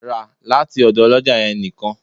Ra lati ọdọ oloja yẹn nikan!